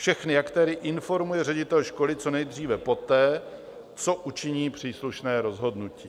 Všechny aktéry informuje ředitel školy co nejdříve poté, co učiní příslušné rozhodnutí.